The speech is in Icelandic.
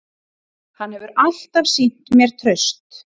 Hann hefur alltaf sýnt mér traust